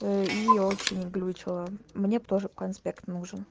и очень глючило мне тоже конспект